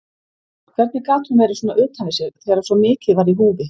Hvernig gat hún verið svona utan við sig þegar svo mikið var í húfi?